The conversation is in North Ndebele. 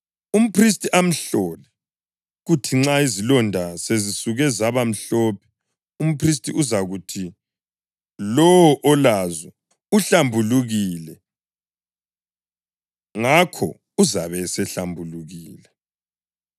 Umphristi amhlole, kuthi nxa izilonda sezisuke zaba mhlophe, umphristi uzakuthi lowo olazo uhlambulukile; ngakho uzabe esehlambulukile.